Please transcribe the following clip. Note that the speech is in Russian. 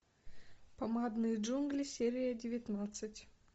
помадные джунгли серия девятнадцать